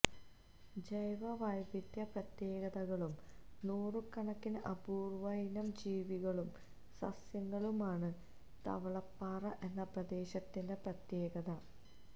ജൈവവൈവിധ്യ പ്രത്യേകതകളും നൂറുകണക്കിന് അപൂര്വ്വയിനം ജീവികളും സസ്യങ്ങളുമാണ് തവളപ്പാറ എന്ന പ്രദേശത്തിന്റെ പ്രത്യേകത